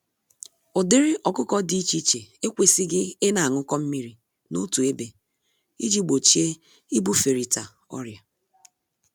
Ụdịrị ọkụkọ dị iche iche ekwesighi ịna añụkọ mmírí n'otu ébé, iji gbochie ibuferịta ọrịa.